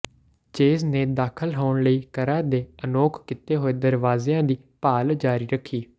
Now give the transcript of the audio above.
Chase ਨੇ ਦਾਖਲ ਹੋਣ ਲਈ ਘਰਾਂ ਦੇ ਅਨੌਕ ਕੀਤੇ ਹੋਏ ਦਰਵਾਜ਼ਿਆਂ ਦੀ ਭਾਲ ਜਾਰੀ ਰੱਖੀ